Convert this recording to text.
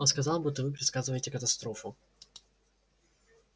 он сказал будто вы предсказываете катастрофу